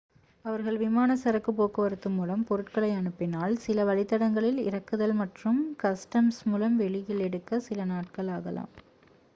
அவர்கள் விமானச் சரக்குப் போக்குவரத்து மூலம் பொருட்களை அனுப்பினால் சில வழித்தடங்களில் இறக்குதல் மற்றும் கஸ்டம்ஸ் மூலம் வெளியில் எடுக்க சில நாட்கள் ஆகலாம்